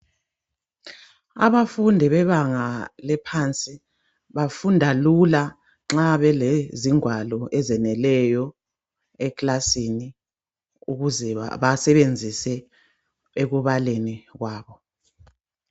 Abafundi bebanga laphansi bafunda Lula nxa belezingwalo ezeneleyo eklasini ukuze basebenzise ekubaleni kwabo .